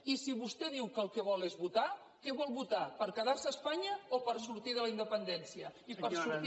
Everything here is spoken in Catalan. i si vostè diu que el que vol és votar què vol votar per quedar se a espanya o per sortida la independència i per sortir